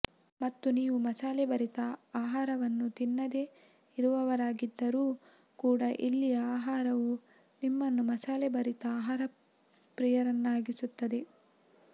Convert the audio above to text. ಮತ್ತು ನೀವು ಮಸಾಲೆಭರಿತ ಆಹಾರವನ್ನು ತಿನ್ನದೇ ಇರುವವರಾಗಿದ್ದರೂ ಕೂಡಾ ಇಲ್ಲಿಯ ಆಹಾರವು ನಿಮ್ಮನ್ನು ಮಸಾಲೆ ಭರಿತ ಆಹಾರಪ್ರಿಯರನ್ನಾಗಿಸುತ್ತದೆ